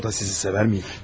O da sizi sevərdimi?